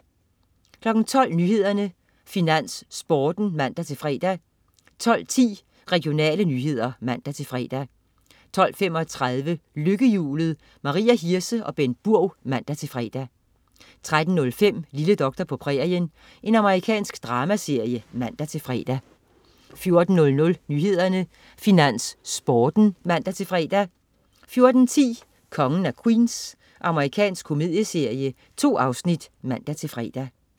12.00 Nyhederne, Finans, Sporten (man-fre) 12.10 Regionale nyheder (man-fre) 12.35 Lykkehjulet. Maria Hirse og Bengt Burg (man-fre) 13.05 Lille doktor på prærien. Amerikansk dramaserie (man-fre) 14.00 Nyhederne, Finans, Sporten (man-fre) 14.10 Kongen af Queens. Amerikansk komedieserie. 2 afsnit (man-fre)